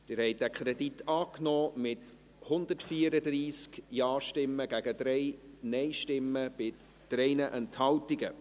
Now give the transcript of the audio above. Sie haben diesen Kredit angenommen, mit 134 Ja- gegen 3 Nein-Stimmen bei 3 Enthaltungen.